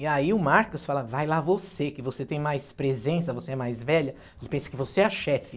E aí o Marcos fala, vai lá você, que você tem mais presença, você é mais velha, ele pensa que você é a chefe.